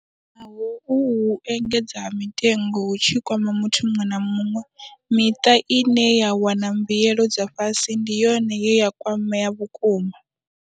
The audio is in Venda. Naho uhu u engedzea ha mitengo hu tshi kwama muthu muṅwe na muṅwe, miṱa ine ya wana mbuelo dza fhasi ndi yone ye ya kwamea vhukuma.